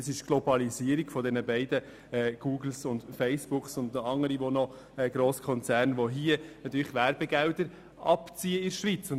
Vielmehr ist es die Globalisierung, in der Google, Facebook und andere Grosskonzerne die Werbegelder hier in der Schweiz abziehen.